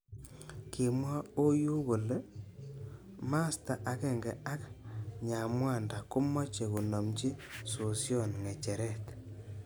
Kimwa Oyu kole masta akenge ak Nyamwanda komeche konimchi sosion ngecheret.